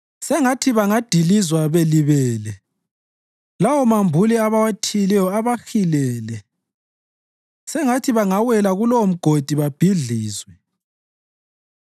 sengathi bangadilizwa belibele lawomambule abawathiyileyo abahilele, sengathi bangawela kulowomgodi babhidlizwe.